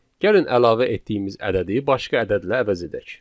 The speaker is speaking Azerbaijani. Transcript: Gəlin əlavə etdiyimiz ədədi başqa ədədlə əvəz edək.